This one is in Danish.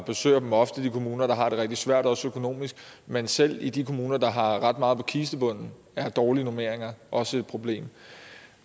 besøger ofte de kommuner der har det rigtig svært også økonomisk men selv i de kommuner der har ret meget på kistebunden er dårlige normeringer også et problem